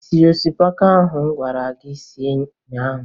Ị siri osikapa ahụ m gwara gị sie ụnyaahụ?